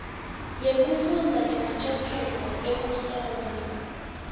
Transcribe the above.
yekufundza nemacophelo ekuhlola